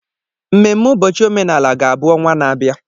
Mmemme ụbọchị omenala ga-abụ ọnwa na-abịa.